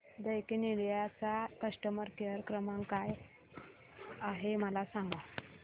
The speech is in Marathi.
दैकिन इंडिया चा कस्टमर केअर क्रमांक काय आहे मला सांगा